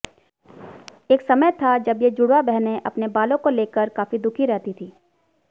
एक समय था जब ये जुड़वा बहनें अपने बालों को लेकर काफी दुखी रहती थी